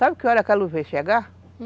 Sabe que hora aquela luz veio chegar?